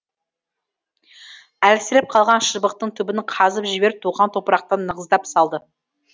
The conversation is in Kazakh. әлсіреп қалған шыбықтың түбін қазып жіберіп туған топырақтан нығыздап салды